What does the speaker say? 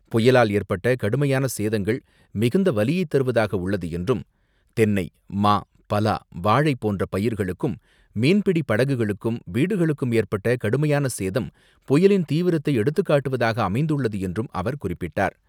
புயலால் ஏற்பட்ட கடுமையான சேதங்கள் மிகுந்த வலியை தருவதாக உள்ளது என்றும், தென்னை, மா, பலா, வாழை போன்ற பயிர்களுக்கும், மீன்பிடி படகுகளுக்கும், வீடுகளுக்கும் ஏற்பட்ட கடுமையான சேதம் புயலின் தீவிரத்தை எடுத்துக்காட்டுவதாக அமைந்துள்ளது என்றும் அவர் குறிப்பிட்டார்.